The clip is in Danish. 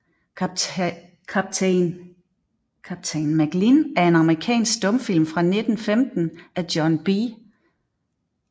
Captain Macklin er en amerikansk stumfilm fra 1915 af John B